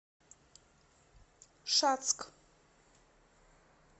шацк